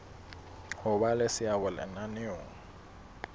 ho ba le seabo lenaneong